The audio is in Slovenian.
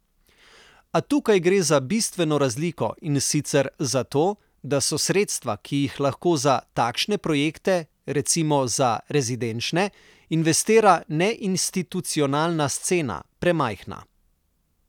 A tukaj gre za bistveno razliko, in sicer za to, da so sredstva, ki jih lahko za takšne projekte, recimo za rezidenčne, investira neinstitucionalna scena, premajhna.